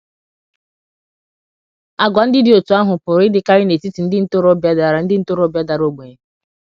Àgwà ndị dị otú ahụ pụrụ ịdịkarị n’etiti ndị ntorobịa dara ndị ntorobịa dara ogbenye